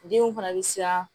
Denw fana bɛ siran